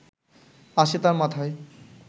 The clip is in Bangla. আসে তার মাথায়